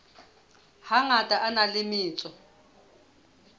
hangata a na le metso